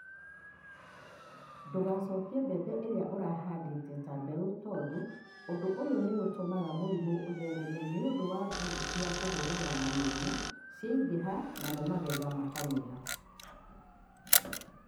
Ndũgacokie mbembe iria ũragethire ta mbeũ tondũ ũndũ ũyũ nĩũtũmaga mũrimũ ũthereme nĩũndũ mbuu cia kũhũrana na mũrimũ cingĩhaga namo magetha makanyiha.